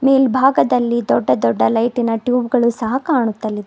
ಮೇಲ್ಭಾಗದಲ್ಲಿ ದೊಡ್ಡ ದೊಡ್ಡ ಲೈಟಿನ ಟ್ಯೂಬ್ ಗಳು ಸಹ ಕಾಣುತ್ತಲಿದೆ.